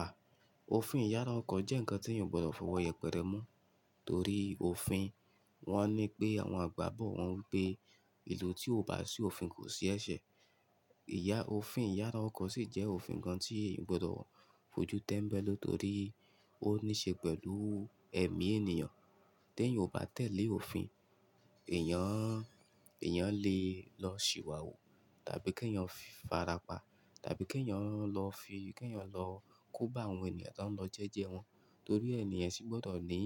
À, òfin ìyára ọkọ̀ jẹ́ ǹkan tí èèyàn ò gbọdọ̀ fọwọ́ yẹpẹrẹ mú. Torí òfin. Wọ́n ní pé àwọn àgbà bọ̀ wọ́n ń pé ìlú tí ò bá ṣì òfin kò sí ẹṣẹ̀. Ìyà òfin ìyára ọkọ̀ sì jẹ́ òfin kan tí, ò gbọdọ̀ fojú tẹ́mbẹ́lú torí ó níṣe pẹ̀lú ẹ̀mí ènìyàn tí èèyàn ò bá tẹ̀lé òfin, èèyàn, èèyàn lè lọ ṣìwàhù, tàbí kí èèyàn fi farapa, tàbí kí èèyàn lọ fi kí èèyàn lọ kó bá àwọn ènìyàn tó ń lọ jẹ́jẹ́ wọn torí ẹ ènìyàn ṣé gbọdọ̀ ní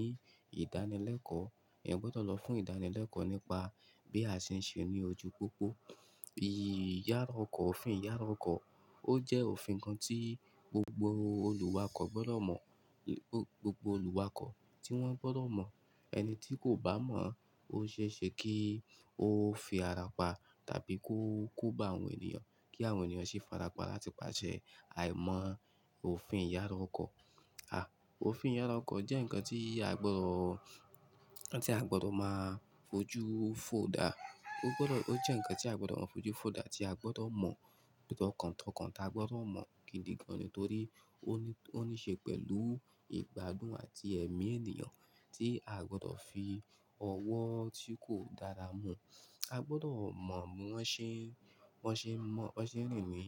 ìdánilẹ́kọ̀ọ́. Ẹ̀yàn gbọdọ̀ lọ fún ìdánilẹ́kọ̀ọ́, nípa. Bí a ṣe ń ṣe ní ojú pópó. I-ìyára ọkọ̀, òfin ìyára ọkọ̀ ó jẹ́ òfin kan tí gbogbo olùwakọ̀ gbọdọ̀ mọ̀, gbogbo olùwakọ̀ tí wọ́n gbọdọ̀ mọ̀. Ẹni tí kò bá mọ̀ ó ṣe é ṣe kí ó fi ara pa tàbí kó, kó bá àwọn ènìyàn kí àwọn ènìyàn sì farapa látipàṣẹ àìmọ̀ òfin ìyára ọkọ̀. À, òfin ìyára ọkọ̀ jẹ́ ǹkan tí a gbọdọ̀, tí a gbọdọ̀ máa fojú fo dà. Ó gbọdọ̀, ó jẹ́ ǹkan tí a gbọdọ̀ máa fojú fo dà tí a gbọdọ̀ mọ̀ tọkàntọkàn. A gbọdọ̀ mọ̀ kìndìgan ni torí. Ó ní, ó níṣe pẹ̀lú ìgbádùn àti ẹ̀mí ènìyàn tí a gbọdọ̀ fi ọwọ́ tí kò dára mu. A gbọdọ̀ mọ̀ bí wọ́n ṣe, wọ́n ṣe ń mọ̀, wọ́n ṣe ń rìn ní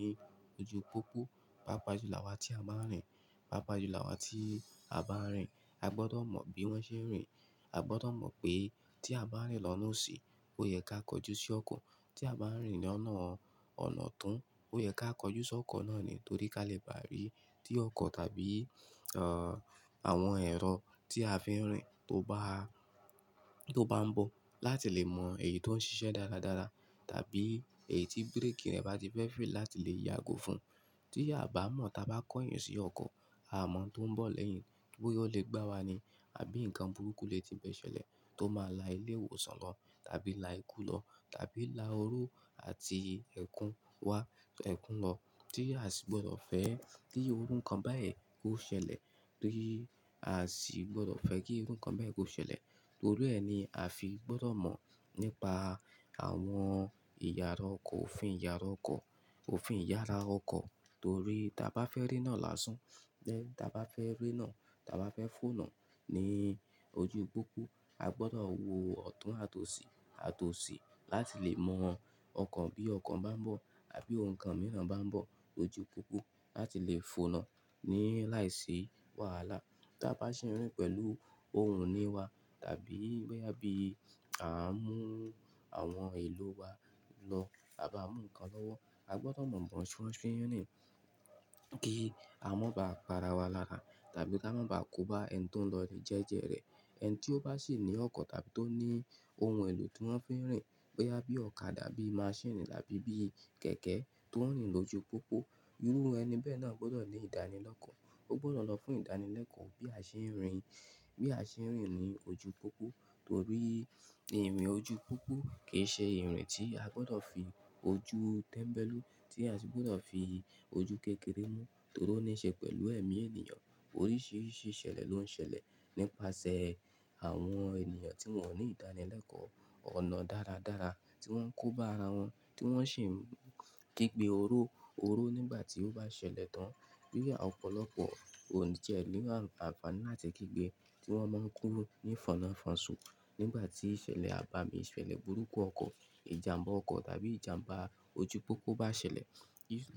ojú pópó. Pápá jù lawa tí a bá ń rìn, pápá ju lawa tí a bá ń rìn a gbọdọ̀ mọ̀ bí wọ́n ṣe ń rìn. A gbọdọ̀ mọ̀ pé, tí a bá ń rìn lọ́nà òsì ó yẹ ká kọjú sí ọkọ. Tí a bá ń rìn lọ́nà ọ̀nà ọ̀tún ó yẹ ká kọjú sí ọkọ̀ náà ni torí ká lè báà rí tí ọkọ̀ tàbí, à, àwọn ẹ̀rọ tí a fín rìn tó bá,. Tó bá ń bọ̀ láti lè mọ èyí tó ń ṣiṣẹ́ dáradára tàbí, èyí tí bírèkì rẹ̀ bá ti fẹ́ faili láti lè yágò fún. Tí a bá mọ̀ táa bá kọ́ ẹyin sí ọkọ̀, a mọ̀ ohun tó ń bọ̀ lẹ́yìn bóyá ó lè gbá wa ni àbí ǹkan burúkú lè ti bẹ́ ṣẹlẹ̀ tó máa la ilé ìwòsàn lọ tàbí la ikú lọ, tàbí la oró àti ẹ̀kún wá, ẹ̀kún lọ tí a sì gbọdọ̀ fẹ́ kí orú ǹkan báyìí kó ṣẹlẹ̀, kí a sì gbọdọ̀ fẹ́ kí irú ǹkan báyìí kó ṣẹlẹ̀. Torí ẹni a fi gbọdọ̀ mọ̀ nípa àwọn ìyára ọkọ̀ òfin ìyára ọkọ̀, òfin ìyára ọkọ̀ torí tí a bá fẹ́ rí iná lásán, tí a bá fẹ́ rí iná, tí a bá fẹ́ fo iná ní ojú pópó a gbọdọ̀ wo ọ̀tún àti òsì, àti òsì láti lè mọ̀ ọkàn bí ọkọ̀ bá ń bọ̀ àbí ohun kan mìíràn bá ń bọ̀ ojú pópó láti lè fo iná ní láìsí wàhálà. Tí a bá ṣe ń rìn pẹ̀lú ohun ní wa tàbí bóyá bí à ń mú àwọn èlò wa lọ tàbí à ń mú ǹkan lọ́wọ́ a gbọdọ̀ mọ̀ bí wọ́n ṣe, wọ́n ṣe ń rìn kí a má bà pa ara wa lára. Tàbí kí a má bà kó bá ẹni tó ń lọ rẹ̀ jẹ́jẹ́ rẹ̀. Ẹni tí ó bá sì ní ọkọ̀ tàbí tó ní ohun èlò tí wọ́n fi ń rìn bóyá bí ọ̀kadà bí máṣíìnì tàbí bí kẹ̀kẹ́ tó ń rìn lójú pópó, irú ẹni bẹ́ẹ̀ náà gbọdọ̀ ní ìdánilẹ́kọ̀ọ́. Ó gbọdọ̀ lọ fún ìdánilẹ́kọ̀ọ́ bí a ṣe ń rìn, bí a ṣe ń rìn ní ojú pópó torí ìrìn ojú pópó kì í ṣe ìrìn tí a gbọdọ̀ fi ojú tẹ́mbẹ́lú tí a sì gbọdọ̀ fi. Ojú kékeré mú torí ó níṣe pẹ̀lú ẹ̀mí ènìyàn. Oríṣiríṣi ìṣẹ̀lẹ̀ ló ń ṣẹlẹ̀ nípasẹ̀ àwọn ènìyàn tí wọ́n ò ní ìdánilẹ́kọ̀ọ́, ọ̀nà dáradára tí wọ́n ń kó bá ara wọn tí wọ́n sì ń gígbe oró, oró nígbà tí ó bá ṣẹlẹ̀ tán. Bí i ọ̀pọ̀lọpọ̀ òǹjẹ ní àǹfàní àti kígbe tí wọ́n máa ń kúrú ní ìfọnna ìfọsọ nígbà tí ìṣẹ̀lẹ̀ àbámì ìṣẹ̀lẹ̀ burúkú ọkọ̀, ìjàmbá ọkọ̀ tàbí ìjàmbá ojú pópó bá ṣẹlẹ̀.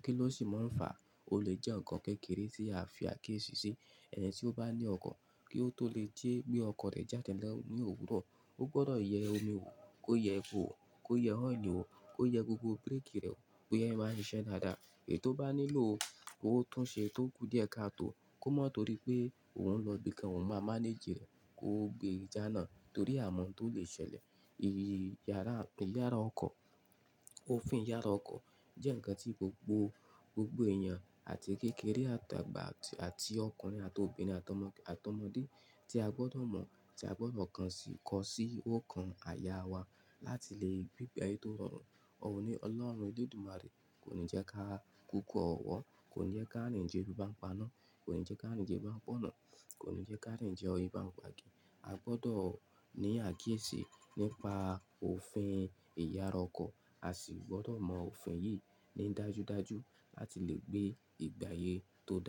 Kí ló sì máa ń fàá. O lè jẹ́ ǹkan kékeré tí a fi àkíyèsí ṣí. Ẹni tí ó bá ní ọkọ̀ kí ó tó lè jẹ́ bí ọkọ̀ rẹ̀ jáde lọ ní òwúrọ̀ ó gbọdọ̀ yẹ omi wò, kó yẹ epo wò, kó yẹ ọ́ìlì wò, kó yẹ gbogbo bírèkì rẹ̀ wò, kó yẹ ẹ́ máa ń ṣiṣẹ́ dáadáa. Èyí tó bá nílò, kó tún un ṣe tó kú díẹ̀ ká tó. Kó mọ̀ torí pé òun ń lọ ibi kan òun máa mánéjì rẹ̀, kó gbé e jána, torí àmọ́ntó lè ṣẹlẹ̀. Ìyára, ìyára ọkọ̀, òfin ìyára ọkọ̀ jẹ́ ǹkan tí gbogbo, gbogbo èèyàn àti kékeré àtàgbà àti ọkùnrin àti obìnrin àtà ọmọ, àtà ọmọdé tí a gbọdọ̀ mọ̀ tí a gbọdọ̀ kan sì kọ sí ó kan àyà wa láti lè gbé ìgbà ayé tó rọrùn. Ọ̀run ní Ọlọ́run Olódùmarè kò ní jẹ́ ká kúkú ọ̀wọ́, kò ní jẹ́ ká rìn jẹlu bá ń paná, kò ní jẹ́ ká rìn jẹ bá ń pọ́nà, kò ní jẹ́ ká rìn jẹ oyin bá ń pa gi. A gbọdọ̀ ní àkíyèsí nípa, òfin ìyára ọkọ̀. A sì gbọdọ̀ mọ òfin yìí, ní dájúdájú láti lè gbé ìgbà ayé tó dùn.